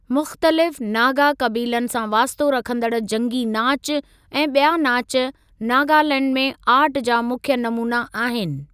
मुख़्तलिफ़ नागा क़बीलनि सां वास्तो रखंदड़ जंगी नाचु ऐं ॿिया नाचु नागालैंड में आर्ट जा मुख्य नमूना आहिन॥